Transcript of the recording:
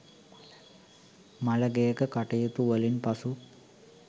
මළගෙයක කටයුතු වලින් පසු